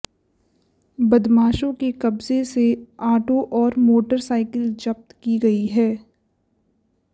बदमाशों के कब्जे से आटो और मोटर साइकिल जब्त की गई हैं